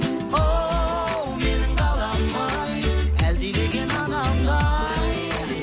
оу менің далам ай әлдилеген анамдай